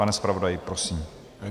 Pane zpravodaji, prosím.